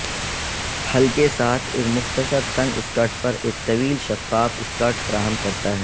ہلکے ساتھ ایک مختصر تنگ سکرٹ پر ایک طویل شفاف سکرٹ فراہم کرتا ہے